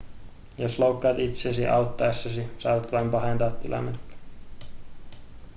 jos loukkaat itsesi auttaessasi saatat vain pahentaa tilannetta